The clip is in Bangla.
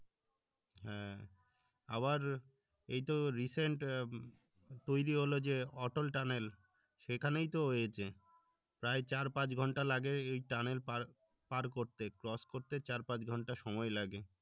আবার এই তো recent তৈরী হলো যে atol tunnel সেখানেই তো হয়েছে চার পাঁচ ঘন্টা লাগে এই tunnel পার পার করতে cross করতে চার পাঁচ ঘন্টা সময় লাগে